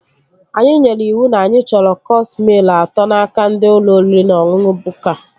Anyị nyere iwu na anyị chọrọ cọọs mịl atọ n'aka ndị ụlọ oriri na ọṅụṅụ Bukka